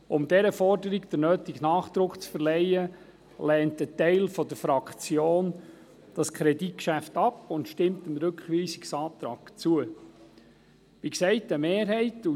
Um diesen Forderungen den nötigen Nachdruck zu verleihen, lehnt ein Teil der Fraktion das Kreditgeschäft ab und stimmt dem Rückweisungsantrag der BaK zu.